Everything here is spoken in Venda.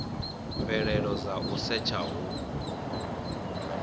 mvelelo dza u setsha hu